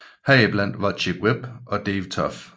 Heriblandt var Chick Webb og Dave Tough